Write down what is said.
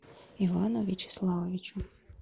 ивану вячеславовичу